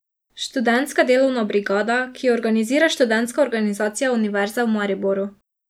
Študentska delovna brigada, ki jo organizira Študentska organizacija Univerze v Mariboru.